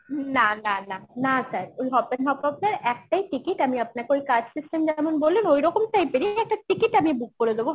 না না না, না sir ওই হপপেন হপহপ আপদের একটাই ticket আমি আপনাকে ওই card system যেমন বললেন ওই রকম type এরই একটা ticket আমি book করে দেব